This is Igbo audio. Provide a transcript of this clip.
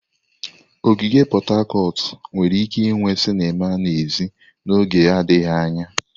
Ogige Pot Tarcot nwere ike inwe sinima n'èzí n'oge adịghị anya.